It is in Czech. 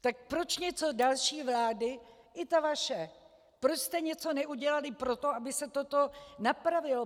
Tak proč něco další vlády, i ta vaše, proč jste něco neudělali pro to, aby se toto napravilo?